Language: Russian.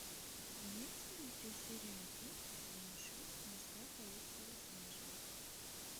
имеется ли у тебя серия один сезона шесть морская полиция лос анджелес